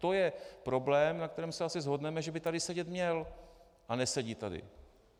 To je problém, na kterém se asi shodneme, že by tady sedět měl, a nesedí tady.